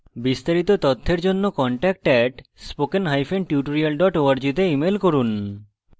বিস্তারিত তথ্যের জন্য contact @spokentutorial org তে ইমেল করুন